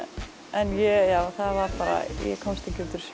en það var bara ég komst ekki út úr